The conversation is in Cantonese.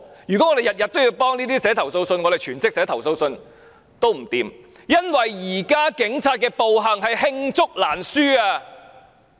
如果我們每天也就這種事寫投訴信，全職寫投訴信也寫不完，因為現時警員的暴行是罄竹難書。